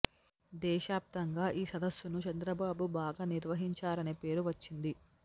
దేశ ప్తంగా ఈ సదస్సును చంద్రబాబు బాగా నిర్వహించారనే పేరు వచ్చింది